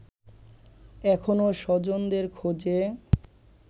এখনো স্বজনদের খোঁজে